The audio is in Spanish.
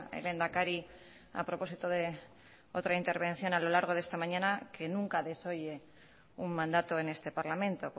el lehendakari a propósito de otra intervención a lo largo de esta mañana que nunca desoye un mandato en este parlamento